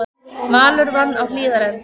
Valur vann á Hlíðarenda